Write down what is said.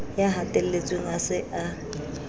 ya hatelletsweng a se a